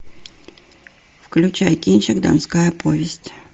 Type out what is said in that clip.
включай кинчик донская повесть